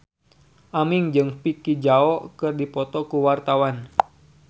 Aming jeung Vicki Zao keur dipoto ku wartawan